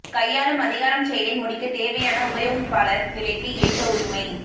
கையாளும் அதிகாரம் செயலை முடிக்கத் தேவையான உபயோகிப்பாளர் நிலைக்கு ஏற்ற உரிமை